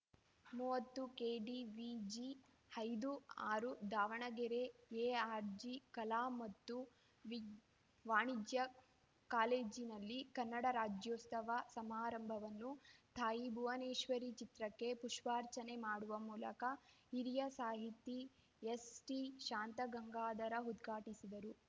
ಮೂವತ್ತು ಕೆಡಿವಿಜಿ ಐದು ಆರು ದಾವಣಗೆರೆ ಎಆರ್‌ಜಿ ಕಲಾ ಮತ್ತು ವಿ ವಾಣಿಜ್ಯ ಕಾಲೇಜಿನಲ್ಲಿ ಕನ್ನಡ ರಾಜ್ಯೋತ್ಸವ ಸಮಾರಂಭವನ್ನು ತಾಯಿ ಭುವನೇಶ್ವರಿ ಚಿತ್ರಕ್ಕೆ ಪುಷ್ಪಾರ್ಚನೆ ಮಾಡುವ ಮೂಲಕ ಹಿರಿಯ ಸಾಹಿತಿ ಎಸ್‌ಟಿಶಾಂತಗಂಗಾಧರ ಉದ್ಘಾಟಿಸಿದರು